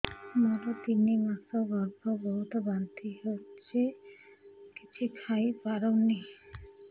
ମୋର ତିନି ମାସ ଗର୍ଭ ବହୁତ ବାନ୍ତି ହେଉଛି କିଛି ଖାଇ ପାରୁନି